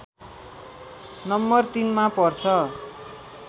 number ३ मा पर्छ